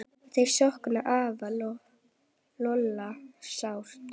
Þau sakna afa Lolla sárt.